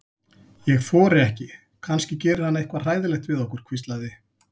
Ég þori ekki, kannski gerir hann eitthvað hræðilegt við okkur. hvíslaði